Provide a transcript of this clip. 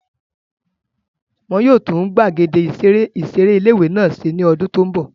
Wọ́n yóò tún gbàgede ìseré ilé-ìwé náà ṣe ní ọdún tó n bọ̀